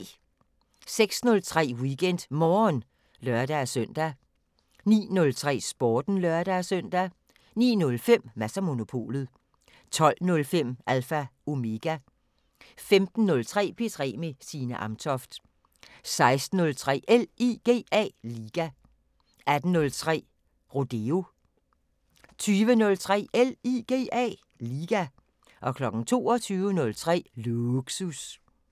06:03: WeekendMorgen (lør-søn) 09:03: Sporten (lør-søn) 09:05: Mads & Monopolet 12:05: Alpha Omega 15:03: P3 med Signe Amtoft 16:03: LIGA 18:03: Rodeo 20:03: LIGA 22:03: Lågsus